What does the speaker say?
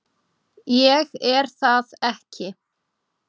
Ég er það ekki.